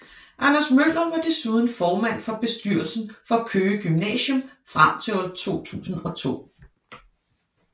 Anders Møller var desuden formand for bestyrelsen for Køge Gymnasium frem til 2002